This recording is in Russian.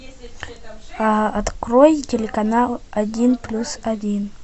открой телеканал один плюс один